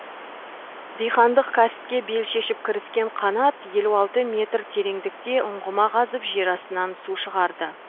дихандық кәсіпке бел шешіп кіріскен қанат елу алты метр тереңдікте ұңғыма қазып жер астынан су шығарды